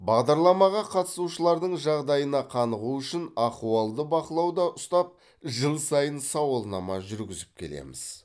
бағдарламаға қатысушылардың жағдайына қанығу үшін ахуалды бақылауда ұстап жыл сайын сауалнама жүргізіп келеміз